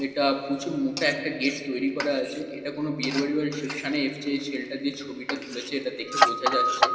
এটা প্রচুর মোটা একটা গেট তৈরি করা আছে এটা কোন বিয়ের বাড়ি বা রিসেপশনে এসছে এই ছেলেটা যে ছবিটা তুলেছে দেখে বোঝা যাচ্ছে।